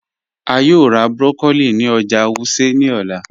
A yòò rá broccoli ní ọ̀jà Wuse ní òlà.